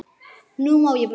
Nú má ég brosa.